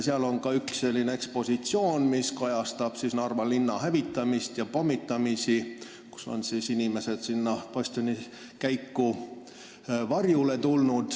Seal on ka ekspositsioon, mis kajastab Narva linna hävitamist ja pommitamist – inimesed põgenesid siis sinna bastionikäiku varjule.